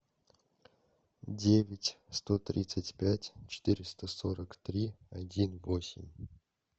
девять сто тридцать пять четыреста сорок три один восемь